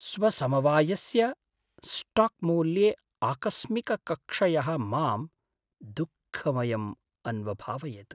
स्वसमवायस्य स्टाक्मूल्ये आकस्मिकक्षयः मां दुःखमयम् अन्वभावयत्।